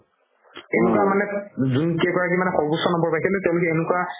যোন কেই গৰাকিয়ে মানে সৰ্বেশ্বৰ নম্বৰ পাইছিলে তেওলোকে এনেকুৱা